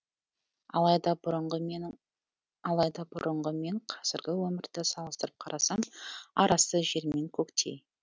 алайда бұрынғы мен қазіргі өмірді салыстырып қарасам арасы жер мен көктей